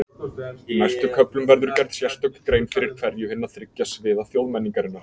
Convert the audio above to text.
Í næstu köflum verður gerð sérstök grein fyrir hverju hinna þriggja sviða þjóðmenningarinnar.